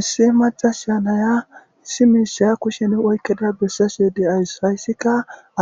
issi macas sha naya issi miishiya kushen oykkeda bessasu yedde ays hayssika